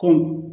Kɔmi